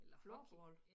Floorball